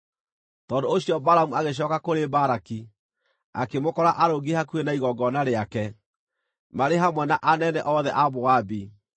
Tondũ ũcio Balamu agĩcooka kũrĩ Balaki, akĩmũkora arũngiĩ hakuhĩ na igongona rĩake, marĩ hamwe na anene othe a Moabi.